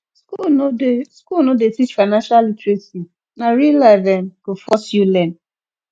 school no dey school no dey teach financial literacy na real life um go force you learn